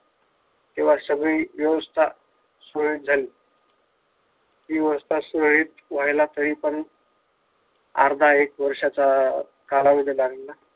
तेव्हा सगळी व्यवस्था सुरळीत झाली हि व्यवस्था सुरळीत व्हायला हवी परंतु अर्धा एक वर्षाचा कालावधी लागेल ना